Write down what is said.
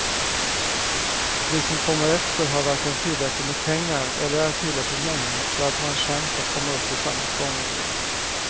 Vi som kommer efter har varken tillräckligt med pengar eller är tillräckligt många för att ha en chans att komma upp i samma sparnivåer.